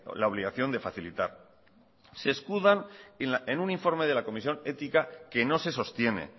la obligación de facilitar se escudan en un informe de la comisión ética que no se sostiene